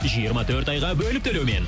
жиырма төрт айға бөліп төлеумен